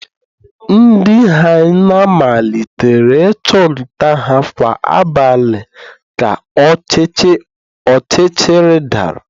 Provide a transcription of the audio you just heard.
Ndị hyena malitere ịchụ nta ha kwa abalị ka ọchịchịrị dara